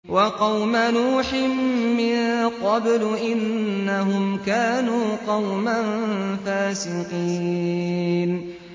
وَقَوْمَ نُوحٍ مِّن قَبْلُ ۖ إِنَّهُمْ كَانُوا قَوْمًا فَاسِقِينَ